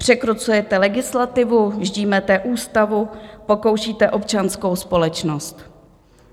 Překrucujete legislativu, ždímáte ústavu, pokoušíte občanskou společnost.